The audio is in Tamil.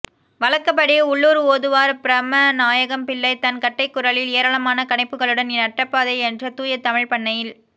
வழக்கப்படி உள்ளூர் ஒதுவார் பிரமநாயகம்பிள்ளை தன் கட்டைக்குரலில் ஏராளமான கனைப்புகளுடன் நட்டபாடை என்ற தூய தமிழ்ப்பண்ணில்